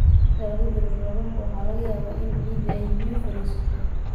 Inta lagu jiro roobabka, waxaa laga yaabaa in ciidda ay biyo fariisato.